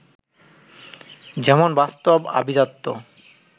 যেমন বাস্তব, আভিজাত্য